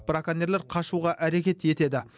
браконьерлер қашуға әрекет етеді